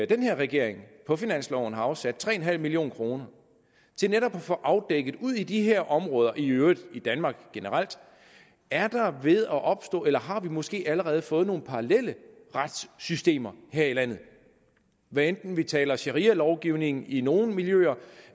den her regering på finansloven har afsat tre million kroner til netop at få afdækket ude i de her områder og i øvrigt i danmark generelt er der ved at opstå eller har vi måske allerede fået nogle paralleller retssystemer her i landet hvad enten vi taler om sharialovgivning i nogle miljøer